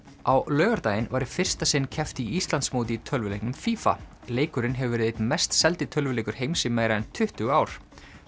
á laugardaginn var í fyrsta sinn keppt á Íslandsmóti í tölvuleiknum leikurinn hefur verið einn mest seldi tölvuleikur heims í meira en tuttugu ár